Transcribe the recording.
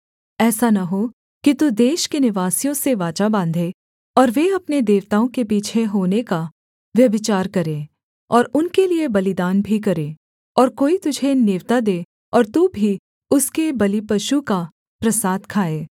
ऐसा न हो कि तू उस देश के निवासियों से वाचा बाँधे और वे अपने देवताओं के पीछे होने का व्यभिचार करें और उनके लिये बलिदान भी करें और कोई तुझे नेवता दे और तू भी उसके बलिपशु का प्रसाद खाए